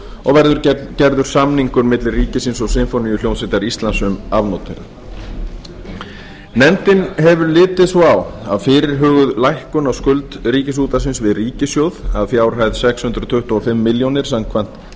og verður gerður samningur milli ríkisins og sinfóníuhljómsveitar íslands um afnot þeirra nefndin hefur litið svo á að fyrirhuguð lækkun á skuld ríkisútvarpsins við ríkissjóð að fjárhæð sex hundruð tuttugu og fimm milljónir króna samkvæmt